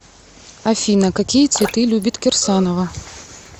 афина какие цветы любит кирсанова